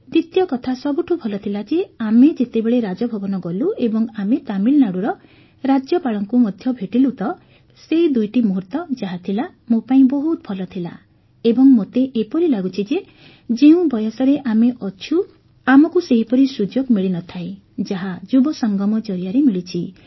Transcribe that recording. ଦ୍ୱିତୀୟ କଥା ସବୁଠୁ ଭଲ ଥିଲା ଯେ ଆମେ ଯେତେବେଳେ ରାଜଭବନ ଗଲୁ ଏବଂ ଆମେ ତାମିଲନାଡୁର ରାଜ୍ୟପାଳଙ୍କୁ ମଧ୍ୟ ଭେଟିଲୁ ତ ସେହି ଦୁଇଟି ମୁହୂର୍ତ୍ତ ଯାହ ଥିଲା ମୋ ପାଇଁ ବହୁତ ଭଲ ଥିଲା ଏବଂ ମୋତେ ଏପରି ଲାଗୁଛି ଯେ ଯେଉଁ ବୟସରେ ଆମେ ଅଛୁ ଆମକୁ ସେହିପରି ସୁଯୋଗ ମିଳିନଥାଏ ଯାହା ଯୁବସଙ୍ଗମ ଜରିଆରେ ମିଳିଛି